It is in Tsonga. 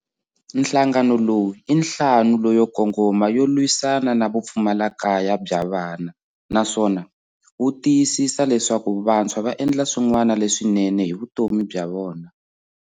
Nhlangano lowu i nhlamu lo yo kongoma yo lwisa na na vupfumalakaya bya vana naswona wu tiyisisa leswaku vantshwa va endla swin'wana leswinene hi vu tomi bya vona.